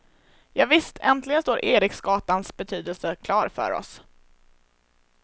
Javisst, äntligen står eriksgatans betydelse klar för oss.